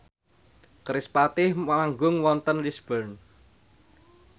kerispatih manggung wonten Lisburn